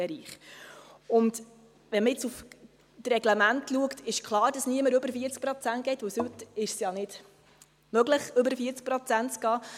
Wenn man auf das Reglement schaut, ist es klar, dass niemand über 40 Prozent geht, weil es heute nicht möglich ist, über 40 Prozent zu gehen.